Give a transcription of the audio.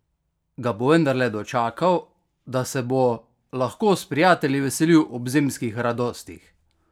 Ga bo vendarle dočakal, da se bo lahko s prijatelji veselil ob zimskih radostih?